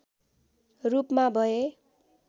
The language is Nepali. रूपमा भए